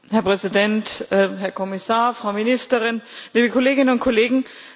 Herr Präsident, Herr Kommissar, Frau Ministerin, liebe Kolleginnen und Kollegen!